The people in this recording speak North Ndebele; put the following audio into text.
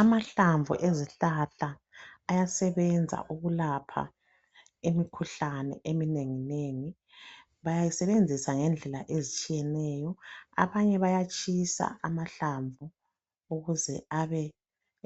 Amahlamvu ezihlahla ayasebenza ukulapha imikhuhlane eminengi nengi. Bayisebenzisa ngendlela ezitshiyeneyo, abanye bayatshisa amahlamvu ukuze